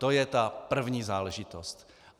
To je ta první záležitost.